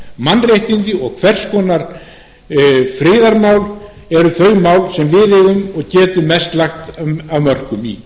mannréttindi og hvers konar friðarmál eru þau mál þar sem við eigum og getum mest lagt af mörkum